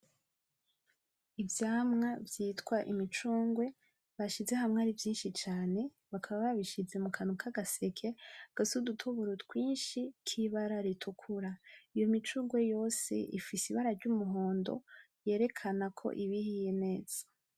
Ivyamwa vyitwa imicungwe, bashize hamwe ari vyinshi cane bakaba babishize mukantu kagaseke gafise udutoboro tw'inshi kibara ritukura , iyo micungwe yose ifise ibara ry'umuhondo, ryerekana ko ibihiye neza.